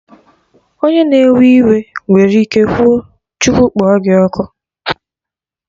Onye na-ewe iwe nwere ike kwuo "Chukwu kpọ gị ọkụ"